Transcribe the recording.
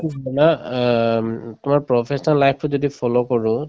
অ um তোমাৰ professional life তোত যদি follow কৰো